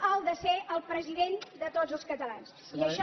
el de ser el president de tots els catalans i això